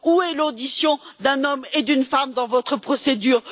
Où est l'audition d'un homme et d'une femme dans votre procédure?